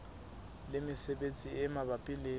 le mesebetsi e mabapi le